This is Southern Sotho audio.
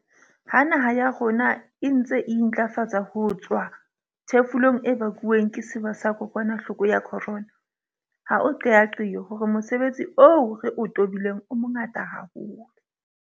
Ha naha ya rona e ntse e intlafatsa ho tswa ho thefulong e bakuweng ke sewa sa kokwanahloko ya corona, ha o qeaqeo hore mosebetsi o re o tobileng o mongata haholo.